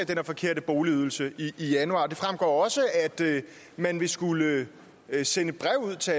der forkerte boligydelse i januar det fremgår også at man vil skulle sende breve ud til